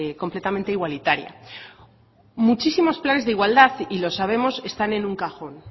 completamente igualitaria muchísimos planes de igualdad y lo sabemos están en un cajón